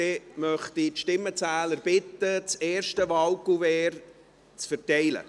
Ich bitte die Stimmenzähler, das erste Wahlkuvert zu verteilen.